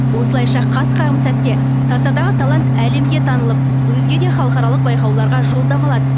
осылайша қас қағым сәтте тасадағы талант әлемге танылып өзге де халықаралық байқауларға жолдама алады